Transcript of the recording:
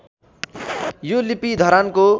यो लिपि धरानको